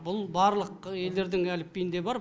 бұл барлық елдердің әліпбиінде бар